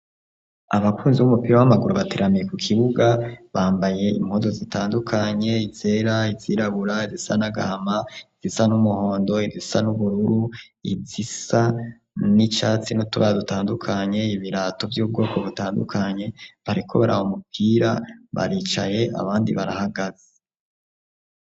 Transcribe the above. Abakunzi w'umupira w'amaguru bateramiye ku kibuga bambaye impozo zitandukanye izera izirabura izisa nagahama izisa n'umuhondo izisa n'ubururu izisa n'icatsi notuba dutandukanye ibirato vy'ubwoko butandukanye bariko bari awo mupira baricaye abandi barahaga a.